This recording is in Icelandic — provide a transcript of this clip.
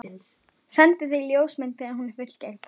Sendi þér ljósmynd þegar hún er fullgerð.